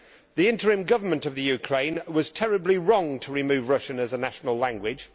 The interim government of Ukraine was terribly wrong to remove Russian as a national language.